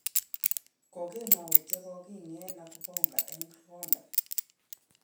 Kokemout ye kogiing'et Nokubonga eng rwondo